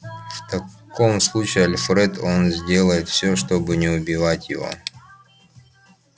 в таком случае альфред он сделает все чтобы не убивать его